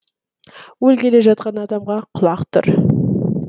өлгелі жатқан адамға құлақ тұр